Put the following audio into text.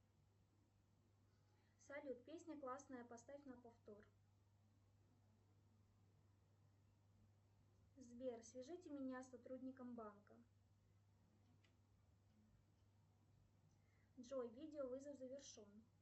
салют песня классная поставь на повтор сбер свяжите меня с сотрудником банка джой видео вызов завершен